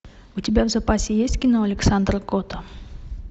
у тебя в запасе есть кино александра котта